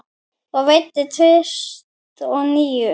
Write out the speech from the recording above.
Og veiddi tvist og NÍU.